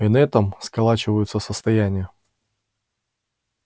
и на этом сколачиваются состояния